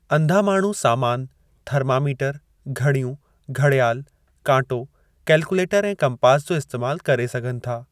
अंधा माण्हू सामान थर्मामीटर, घड़ियूं, घड़ियाल, कांटो, कैलकुलेटर ऐं कम्पास जो इस्तेमाल करे सघनि था।